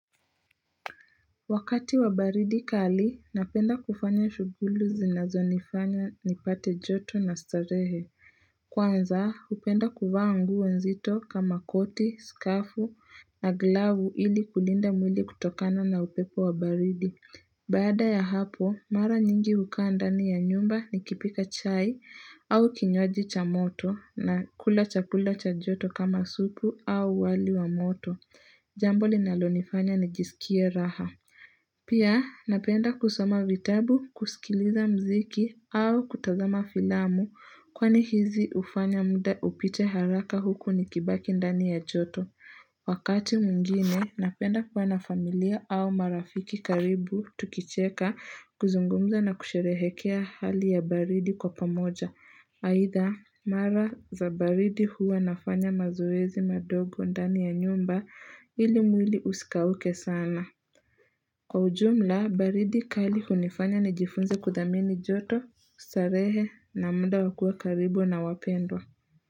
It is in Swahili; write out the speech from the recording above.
Wakati wa baridi kali napenda kufanya shuguli zinazonifanya nipate joto na starehe. Kwanza, upenda kuvaa nguo nzito kama koti, skafu na glavu ili kulinda mwili kutokana na upepo wa baridi. Baada ya hapo mara nyingi hukaa ndani ya nyumba nikipika chai au kinywaji cha moto na kula chakula cha joto kama supu au wali wa moto jambo linalonifanya nijisikie raha pia napenda kusoma vitabu, kuskiliza mziki au kutazama filamu kwani hizi ufanya mda upite haraka huku nikibaki ndani ya joto Wakati mwingine napenda kuwa na familia au marafiki karibu tukicheka, kuzungumza na kusherehekea hali ya baridi kwa pamoja. Aitha, mara za baridi huwa nafanya mazuezi madogo ndani ya nyumba ili mwili usikauke sana. Kwa ujumla baridi kali hunifanya nijifunze kudhamini joto, starehe na mda wa kuwa karibu na wapendwa.